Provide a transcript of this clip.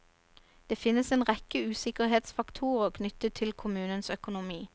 Det finnes en rekke usikkerhetsfaktorer knyttet til kommunens økonomi.